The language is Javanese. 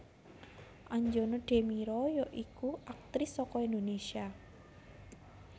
Anjana Demira ya iku aktris saka Indonésia